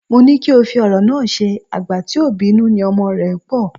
Mó ní kí o fi ọ̀rọ̀ náà ṣe, "àgbà tí ò bínú ni ọmọ rẹ pọ̀"